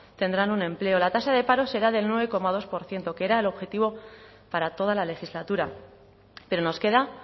tendrán un empleo la tasa de paro será del nueve coma dos por ciento que era el objetivo para toda la legislatura pero nos queda